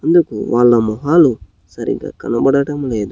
ఇంతకు వాళ్ళ మొహాలు సరిగ్గా కనపడటం లేదు.